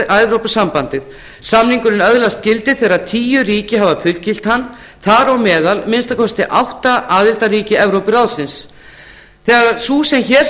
evrópusambandið samningurinn öðlast gildi þegar tíu ríki hafa fullgilt hann þar á meðal að minnsta kosti átta aðildarríki evrópuráðsins þegar sú sem hér